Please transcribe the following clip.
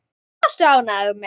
Hvað varstu ánægður með?